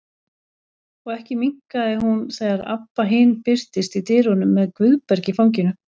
Og ekki minnkaði hún þegar Abba hin birtist í dyrunum með Guðberg í fanginu.